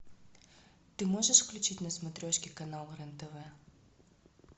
ты можешь включить на смотрешке канал рен тв